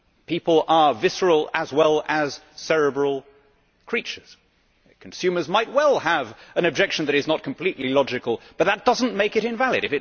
People are visceral as well as cerebral creatures consumers might well have an objection that is not completely logical, but that does not make it invalid.